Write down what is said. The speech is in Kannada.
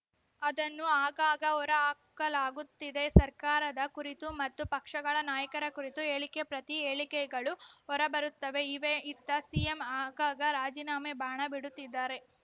ಅದನ್ನು ಆಗಾಗ ಹೊರಹಾಕಲಾಗುತ್ತಿದೆ ಸರ್ಕಾರದ ಕುರಿತು ಮತ್ತು ಪಕ್ಷಗಳ ನಾಯಕರ ಕುರಿತು ಹೇಳಿಕೆ ಪ್ರತಿ ಹೇಳಿಕೆಗಳು ಹೊರಬರುತ್ತವೆ ಇವೆ ಇತ್ತ ಸಿಎಂ ಆಗಾಗ ರಾಜೀನಾಮೆ ಬಾಣ ಬಿಡುತ್ತಿದ್ದಾರೆ